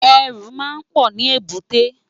Èrù má n pò ni ébùté